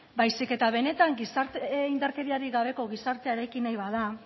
baizik eta benetan indarkeriarik gabeko gizartea eraiki nahi bada